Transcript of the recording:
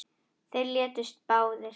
Þeir létust báðir